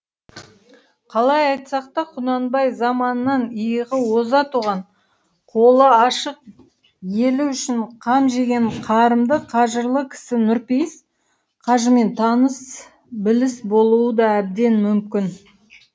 қалай айтсақ та құнанбай заманынан иығы оза туған қолы ашық елі үшін қам жеген қарымды қажырлы кісі нұрпейіс қажымен таныс біліс болуы да әбден мүмкін